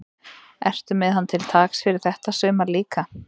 Ertu með hann til taks fyrir þetta sumar líka?